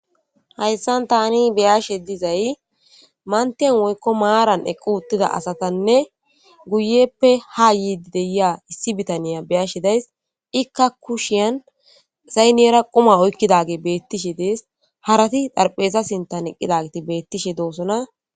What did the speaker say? hayssan tani beyashe dizay mantiyan woykko maaran eqqu utida asatanne guyeppe ha yiidi deyia issi bitaniya beyashe days ikka kushiyan saynyera quma oykkidage beettishe dees harati darphesa sintan eqqida giti beettishe doosona